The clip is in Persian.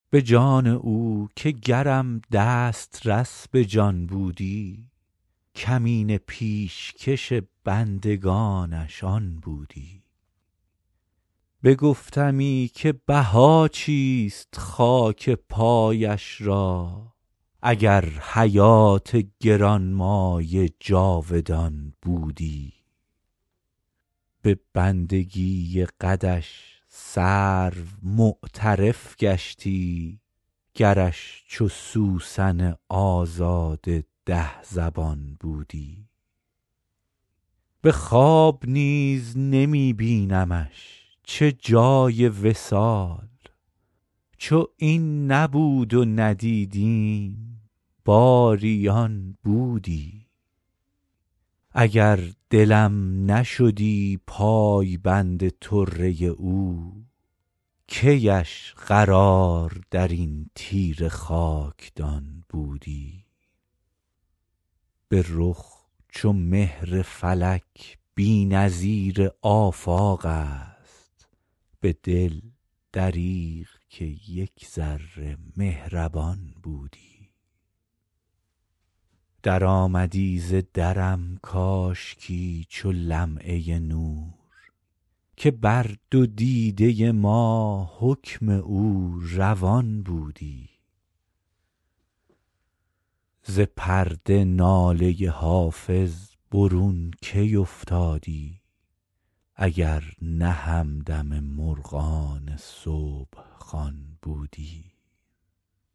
به جان او که گرم دسترس به جان بودی کمینه پیشکش بندگانش آن بودی بگفتمی که بها چیست خاک پایش را اگر حیات گران مایه جاودان بودی به بندگی قدش سرو معترف گشتی گرش چو سوسن آزاده ده زبان بودی به خواب نیز نمی بینمش چه جای وصال چو این نبود و ندیدیم باری آن بودی اگر دلم نشدی پایبند طره او کی اش قرار در این تیره خاکدان بودی به رخ چو مهر فلک بی نظیر آفاق است به دل دریغ که یک ذره مهربان بودی درآمدی ز درم کاشکی چو لمعه نور که بر دو دیده ما حکم او روان بودی ز پرده ناله حافظ برون کی افتادی اگر نه همدم مرغان صبح خوان بودی